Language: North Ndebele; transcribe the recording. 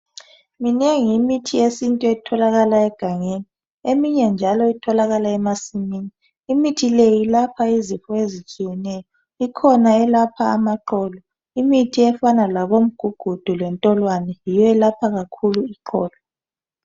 minengi imithi yesintu etholakala egangeni eminye njalo itholakala emasimini imithi leyi ilapha izifo ezitshiyeneyo ikhona elapha amaqolo imithi efana labomgugudu labo ntolwane yiyo elapha kakhulu iqolo